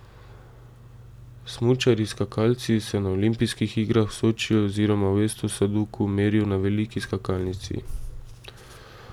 Smučarji skakalci se na olimpijskih igrah v Sočiju oziroma v Esto Sadoku merijo na veliki skakalnici.